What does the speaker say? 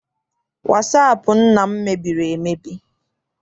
Wasaapụ nna m mebiri emebi.